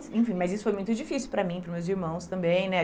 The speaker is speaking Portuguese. Enfim, mas isso foi muito difícil para mim e pros meus irmãos também, né?